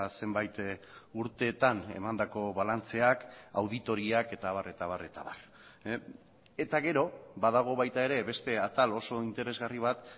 zenbait urtetan emandako balantzeak auditoriak eta abar eta abar eta abar eta gero badago baita ere beste atal oso interesgarri bat